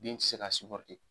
Den te se ka